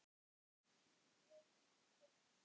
Jóhanna og Tómas.